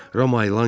Rama yalan kimi.